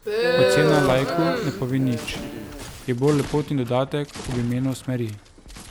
Ocena laiku ne pove nič, je bolj lepotni dodatek ob imenu smeri.